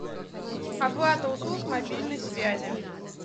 оплата услуг мобильной связи